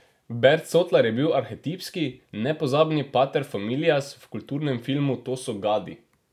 Bert Sotlar je bil arhetipski, nepozabni pater familias v kultnem filmu To so gadi.